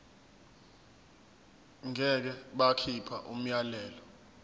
ngeke bakhipha umyalelo